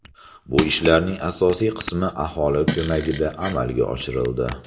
Bu ishlarning asosiy qismi aholi ko‘magida amalga oshirildi.